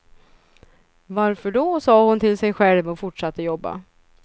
Varför då, sa hon till sig själv och fortsatte jobba.